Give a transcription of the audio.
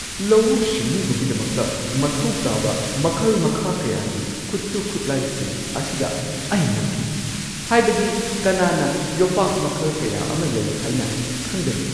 ꯂꯧꯎ-ꯁꯤꯡꯎꯕꯒꯤꯗꯃꯛꯇ ꯃꯊꯧ ꯇꯥꯕ ꯃꯈꯜ-ꯃꯈꯥ ꯀꯌꯥꯒꯤ ꯈꯨꯠꯁꯨ-ꯈꯨꯠꯂꯥꯏꯁꯤꯡ ꯑꯁꯤꯗ ꯑꯩ ꯉꯛꯈꯤ ꯫ ꯍꯥꯏꯕꯗꯤ, ꯀꯅꯥꯅ ꯌꯣꯄꯥꯛ ꯃꯈꯜ ꯀꯌꯥ ꯑꯃ ꯂꯩ ꯍꯥꯏꯅ ꯈꯪꯒꯅꯤ?